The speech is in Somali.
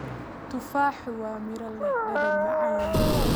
Tufaaxu waa miro leh dhadhan macaan.